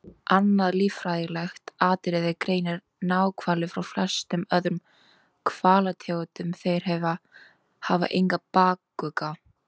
Annað líffræðilegt atriði greinir náhvali frá flestum öðrum hvalategundum- þeir hafa engan bakugga.